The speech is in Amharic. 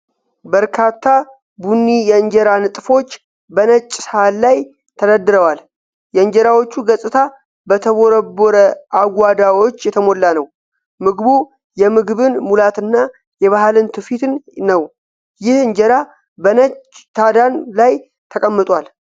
በርካታ ቡኒ የእንጀራ ንጣፎች በነጭ ሳህን ላይ ተደርድረዋል። የእንጀራዎቹ ገጽታ በተቦረቦረ አጉዋዳዎች የተሞላ ነው። ምግቡ የምግብን ሙላትና የባህልን ትውፊትን ነው፡፡ ይህ እንጀራ በነች ታዳን ላይ ተቀምጧል፡፡